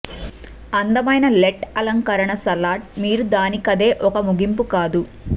అందమైన లెట్ అలంకరణ సలాడ్ మీరు దానికదే ఒక ముగింపు కాదు